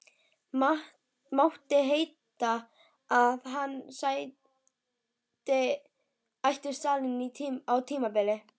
Mátti heita að hann ætti salinn á tímabili.